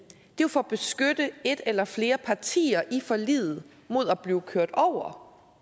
jo for at beskytte et eller flere partier i forliget mod at blive kørt over